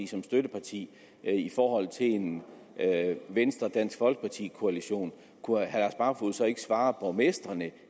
som støtteparti til en venstre dansk folkeparti koalition kunne herre barfoed så ikke svare borgmestrene